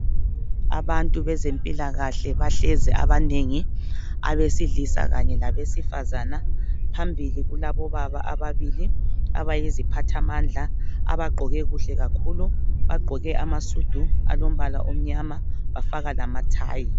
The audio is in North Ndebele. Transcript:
Abantu bezempilakahle bahlezi abanengi, abesilisa kanye labesifazana. Phambili kulabobaba ababili abayiziphathamandla abagqoke kuhle kakhulu bagqoke amasudu alombala omnyama bafaka lamathayi.